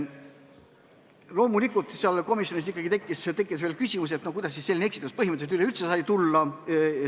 Loomulikult, komisjonis tekkis küsimus, kuidas selline eksitus põhimõtteliselt üleüldse tekkida sai.